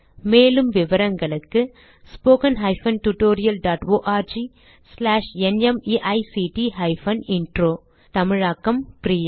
மேலும் விவரங்களுக்கு 1 தமிழாக்கம் பிரியா